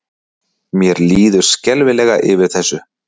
Mér líður skelfilega yfir þessu.